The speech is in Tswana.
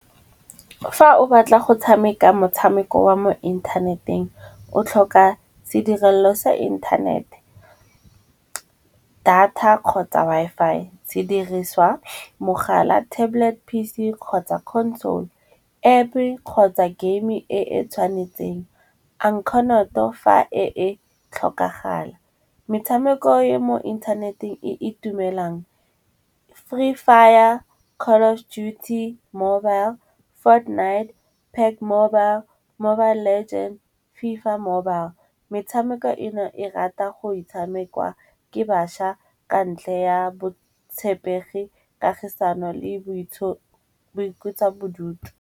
Fa o batla go tshameka motshameko wa mo inthaneteng, o tlhoka sedirela selo sa inthanete, data kgotsa Wi-Fi. Sediriswa, mogala, tablet, P_C kgotsa console App kgotsa game-e e e tshwanetseng, ankhonoto fa e tlhokagala. Metshameko ya mo inthaneteng e e itumelang, Free Fire, Call of Duty Mobile, Fortnite, Pac Mobile, Mobile Legend, FIFA mobile. Metshameko eno e rata go itshamekwa ke baša ka ntle ya botshepegi, kagisano le boikutswa bodutu.